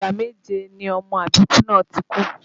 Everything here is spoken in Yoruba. Ìgbà méje ni ọmọ àbíkú náà ti kú